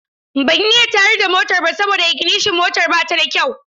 Ban iya tayar da motar ba saboda iginishon motar ba ta da kyau.